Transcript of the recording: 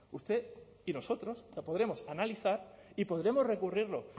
usted y nosotros lo podremos analizar y podremos recurrirlo